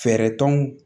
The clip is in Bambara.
Fɛɛrɛ t'anw